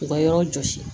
U ka yɔrɔ jɔsi